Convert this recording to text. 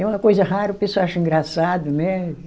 É uma coisa rara, o pessoal acha engraçado, né?